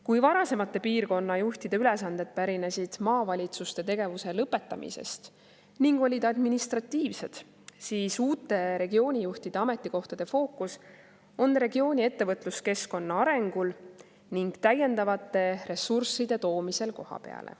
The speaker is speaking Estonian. Kui varasemate piirkonnajuhtide ülesanded pärinesid maavalitsuste tegevuse lõpetamise ning olid administratiivsed, siis uute regioonijuhtide ametikohtade fookus on regiooni ettevõtluskeskkonna arengul ning täiendavate ressursside toomisel kohapeale.